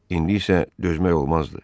İndi isə dözmək olmazdı.